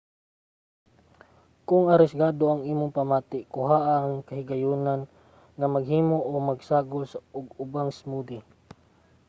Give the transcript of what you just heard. kung arisgado ang imong pamati kuhaa ang kahigayonan nga maghimo o magsagol og ubang smoothie: